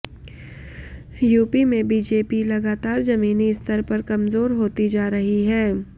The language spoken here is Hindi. यूपी में बीजेपी लगातार जमीनी स्तर पर कमजोर होती जा रही है